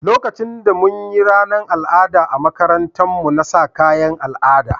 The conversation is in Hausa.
Lokacin da mun yi ranan al'ada a makarantan mu, na sa kayan al'ada na.